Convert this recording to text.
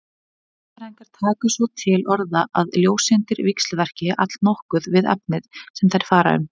Eðlisfræðingar taka svo til orða að ljóseindir víxlverki allnokkuð við efnið sem þær fara um.